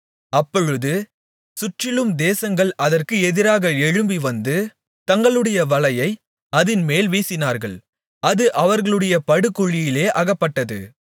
அப்பொழுது சுற்றிலுள்ள தேசங்கள் அதற்கு எதிராக எழும்பிவந்து தங்களுடைய வலையை அதின்மேல் வீசினார்கள் அது அவர்களுடைய படுகுழியிலே அகப்பட்டது